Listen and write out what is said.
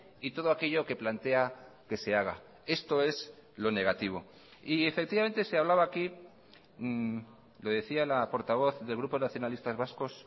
y todo aquello que plantea que se haga esto es lo negativo y efectivamente se hablaba aquí lo decía la portavoz del grupo nacionalistas vascos